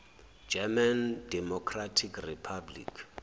german democratic republic